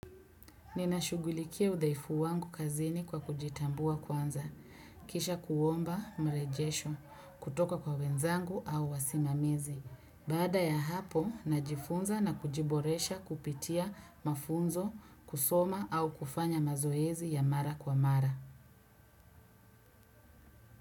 Ninashughulikia udhaifu wangu kazini kwa kujitambua kwanza, kisha kuomba mrejesho, kutoka kwa wenzangu au wasimamizi. Baada ya hapo, najifunza na kujiboresha kupitia mafunzo, kusoma au kufanya mazoezi ya mara kwa mara.